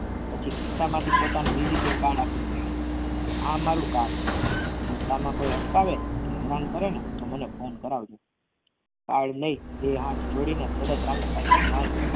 પછી ખિસ્સામાંથી પોતાનું visiting card આપીને કહ્યું આ મારું card છે રસ્તામાં કોઈ અટકાવે હેરાન કરે ને તો મને phone કરાવજો. card નહીં બે હાથ જોડીને સાયકલ માંડ